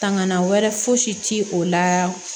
Tangana wɛrɛ fosi ti o la